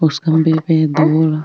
उस खंभे पर दो --